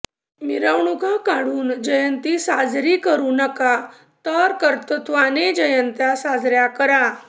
मिरवणुका काढून जयंती साजरी करु नका तर कर्तृत्वाने जयंत्या साजऱया करा